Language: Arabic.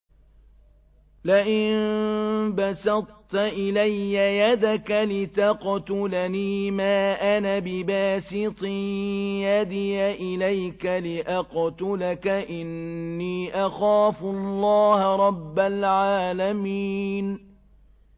لَئِن بَسَطتَ إِلَيَّ يَدَكَ لِتَقْتُلَنِي مَا أَنَا بِبَاسِطٍ يَدِيَ إِلَيْكَ لِأَقْتُلَكَ ۖ إِنِّي أَخَافُ اللَّهَ رَبَّ الْعَالَمِينَ